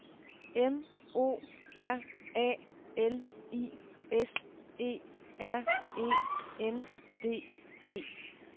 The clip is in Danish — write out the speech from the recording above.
M O R A L I S E R E N D E